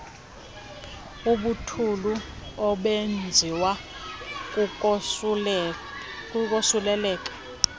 ubuthulu obenziwa kukosuleleka